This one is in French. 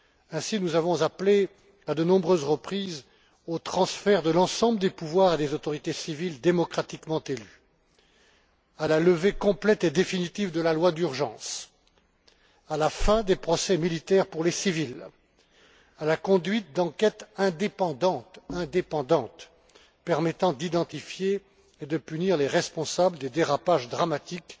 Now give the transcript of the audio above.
Ainsi, nous avons appelé à de nombreuses reprises au transfert de l'ensemble des pouvoirs à des autorités civiles démocratiquement élues, à la levée complète et définitive de la loi d'urgence, à la fin des procès militaires pour les civils, à la conduite d'enquêtes indépendantes permettant d'identifier et de punir les responsables des dérapages dramatiques